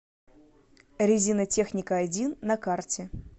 резинотехника один на карте